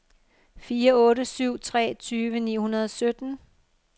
fire otte syv tre tyve ni hundrede og sytten